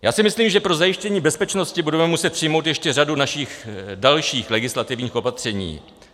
Já si myslím, že pro zajištění bezpečnosti budeme muset přijmout ještě řadu našich dalších legislativních opatření.